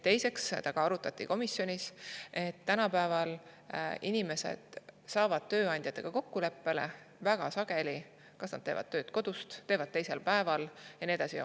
Teiseks arutati komisjonis, et tänapäeval saavad inimesed tööandjaga kokkuleppele, väga sageli nad kas teevad tööd kodust või teevad teisel päeval ja nii edasi.